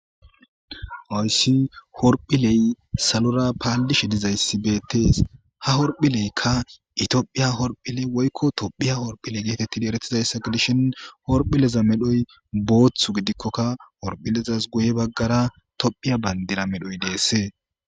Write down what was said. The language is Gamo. Hayssi horphiley salora paalishe dizayssi beetees;ha horphileyka ethiophiya horphile woykko tophphiya horphile geetetidi erettizaysa gidishin horphileza medhoy boothu gidikokka horphilezas guye bagaara tophphiya baandira medhoy de'ese.